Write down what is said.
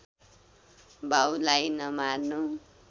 बाउलाई नमार्नु